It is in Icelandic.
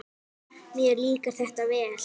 Mér líkar þetta vel.